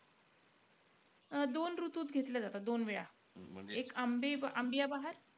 अं दोन ऋतूत घेतले जातात. दोन वेळा. एक आंबिया बहार,